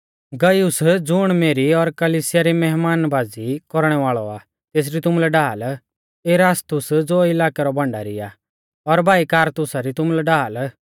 गयुस ज़ुण मेरी और कलिसिया री मैहमानबाज़ी कौरणै वाल़ौ आ तेसरी तुमुलै ढाल इरास्तुस ज़ो इलाकै रौ भण्डारी आ और भाई क्वारतुसा री तुमुलै ढाल